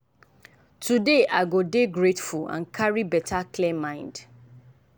today i go dey grateful and carry better clear mind.